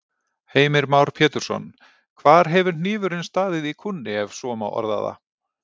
Heimir Már Pétursson: Hvar hefur hnífurinn staðið í kúnni, ef svo má orða það?